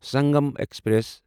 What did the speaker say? Sangam express